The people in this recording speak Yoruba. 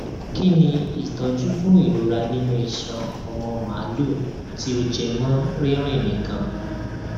kí ni ìtọjú fún irora nínú iṣan ọmọ màlúù tí ó jẹ mọ rírìn nìkan